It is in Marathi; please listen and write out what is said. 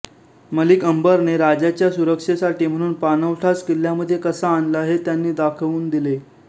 मलिक अंबरने राजाच्या सुरक्षेसाठी म्हणून पाणवठाच किल्ल्यामध्ये कसा आणला हे त्यांनी दाखवून दिले